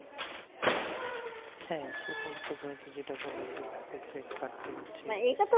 হ্যাঁ সেটাই প্রথমত যেটা বললাম প্রত্যেক হচ্ছে